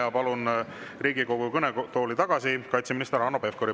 Ma palun Riigikogu kõnetooli tagasi kaitseminister Hanno Pevkuri.